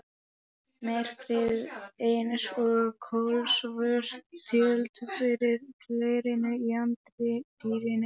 Myrkrið eins og kolsvört tjöld fyrir glerinu í anddyrinu.